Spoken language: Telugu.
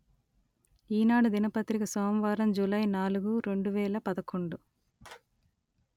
ఈనాడు దినపత్రిక సోమవారం జూలై నాలుగు రెండు వేల పదకొండు